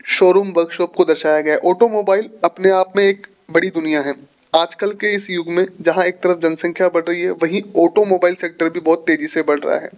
Showroom workshop को दर्शाया गया है ऑटोमोबाइल अपने आप में एक बड़ी दुनिया है आजकल के इस युग में जहां एक तरफ जनसंख्या बढ़ रही है वही ऑटोमोबाइल सेक्टर भी बहुत तेजी से बढ़ रहा है।